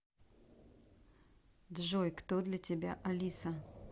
джой кто для тебя алиса